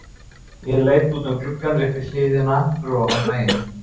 Ég leit út um gluggann upp í hlíðina fyrir ofan bæinn.